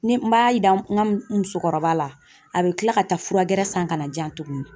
Ne n b'a yira n ka musokɔrɔba la ,a be kila ka taa fura gɛrɛ san ka na di yan tuguni.